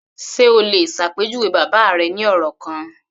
Ṣe o lè ṣàpèjúwe bàbá rẹ ní ọ̀rọ̀ kan?